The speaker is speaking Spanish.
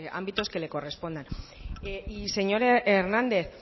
ámbitos que le correspondan y señor hernández